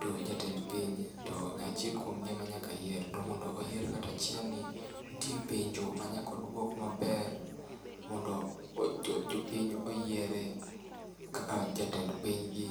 To jatend pinje, to achiel kuomgi emanyaka yier. To mondo oyier ng'atachielni, nitie penjo manyakoduok maber mondo jopiny oyiere kaka jatend pinygi.